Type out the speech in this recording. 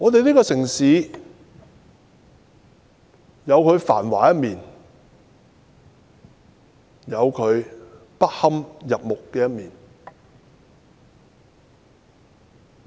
這城市有繁華的一面，亦有不堪入目的一面。